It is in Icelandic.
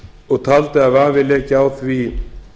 og taldi að vafi léki á því